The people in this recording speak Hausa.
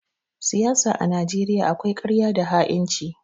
Siyasa a Najeriya akwai ƙarya da ha'inci.